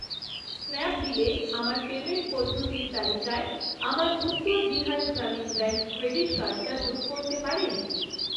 স্ন্যাপডিলে আমার পেমেন্ট পদ্ধতির তালিকায় আমার উত্তর বিহার গ্রামীণ ব্যাঙ্ক ক্রেডিট কার্ডটা যোগ করতে পারেন?